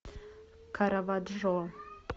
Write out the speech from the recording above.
караваджо